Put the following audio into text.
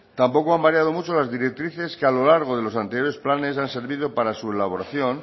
tampoco han variado mucho las directrices que a lo largo de los anteriores planes han servido para su elaboración